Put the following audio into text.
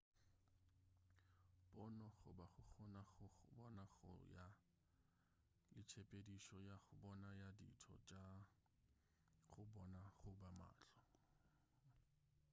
pono goba go kgona go bona go ya le ka tshepedišo ya go bona ya ditho tša go bona goba mahlo